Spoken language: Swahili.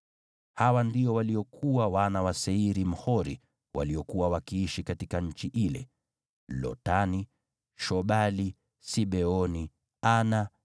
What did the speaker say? Hawa ndio walikuwa wana wa Seiri, Mhori, waliokuwa wakiishi katika nchi ile: Lotani, Shobali, Sibeoni, Ana,